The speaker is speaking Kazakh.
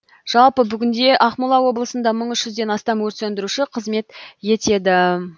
жалпы бүгінде ақмола облысында мың үш жүзден астам өрт сөндіруші қызмет етеді